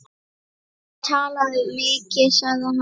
Hann talaði mikið sagði hann.